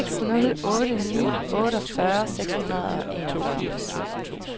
seks nul otte ni otteogfyrre seks hundrede og enogfyrre